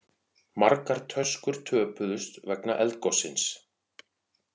Margar töskur töpuðust vegna eldgossins